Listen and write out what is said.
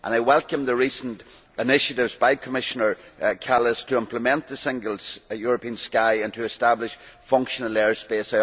I welcome the recent initiatives by Commissioner Kallas to implement the Single European Sky and to establish functional air space.